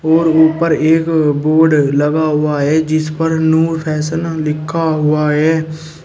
और ऊपर एक बोर्ड लगा हुआ है जिस पर नूर फैशन लिखा हुआ है।